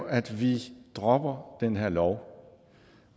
at vi dropper den her lov